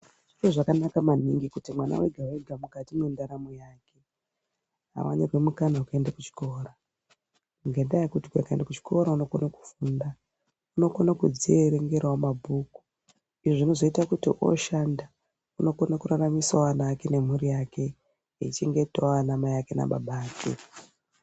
Zviro zvakanaka maningi kuti mwana wega wega mukati mwendaramo yake aonerwe mukana wekuenda kuchikora ngendayekuti akaende kuchikora uunokone kufunda unokone kudzierengerawo mabhuku izvi zvinozoita kuti oshanda unokone kuraramisawo ana ake ne mhuri yake eichengetawo anamai ake nababa ake.